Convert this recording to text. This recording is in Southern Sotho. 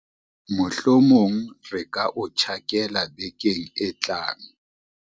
Mohlomong re ka o tjhakela vekeng e tlang.